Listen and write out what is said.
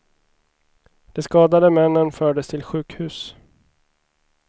De skadade männen fördes till sjukhus.